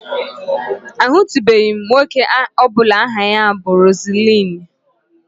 Ahụtụbeghị m nwoke ọ bụla aha ya bu Rozulinu